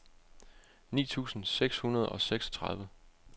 ni tusind seks hundrede og syvogtredive